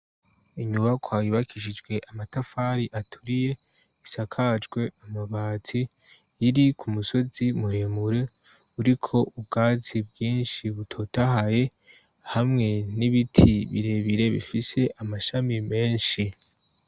Inyubakwa yubakishijwe amatafari aturiye isakajwe amabati iri ku musozi muremure uriko ubwatsi bwinshi butotahaye hamwe n'ibiti birebire bifise amashami menshi.